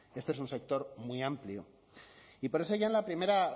este es un sector muy amplio y por eso ya en la primera